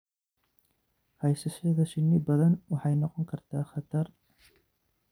Haysashada shinni badan waxay noqon kartaa khatar.